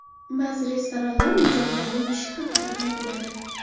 Ba’zi restoranlar mijozlarning tishi haqida qayg‘uradi.